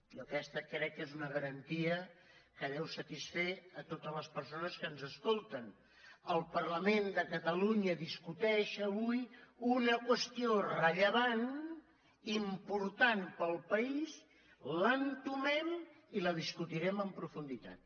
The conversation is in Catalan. jo aquesta crec que és una garantia que deu satisfer totes les persones que ens escolten el parlament de catalunya discuteix avui una qüestió rellevant important per al país l’entomem i la discutirem en profunditat